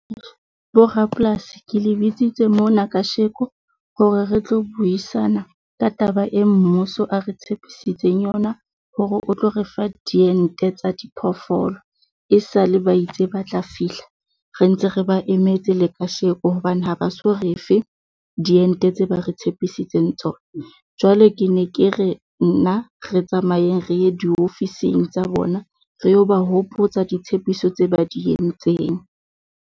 Bo rapolasi ke le bitsitse mona kasheko hore re tlo buisana ka taba e mmuso a re tshepisitseng yona, hore o tlo refa diente tsa diphoofolo e sale ba itse ba tla fihla, re ntse re ba emetse le kasheko, hobane ha ba so re fe diente tse ba re tshepisitseng tsona. Jwale ke ne ke re nna re tsamayeng re ye diofising tsa bona, re yo ba hopotsa ditshepiso tse ba di entseng.